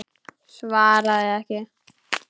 Svaraði ekki.